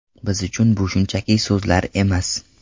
Biz uchun bu shunchaki so‘zlar emas.